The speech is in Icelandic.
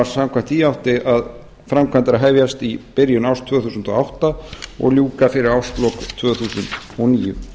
samkvæmt því áttu framkvæmdir að hefjast í byrjun árs tvö þúsund og átta og ljúka fyrir árslok tvö þúsund og níu